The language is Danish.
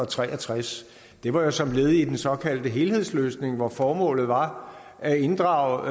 tre og tres det var jo som led i den såkaldte helhedsløsning hvor formålet var at inddrage